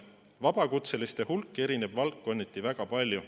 Vabakutseliste hulk erineb valdkonniti väga palju.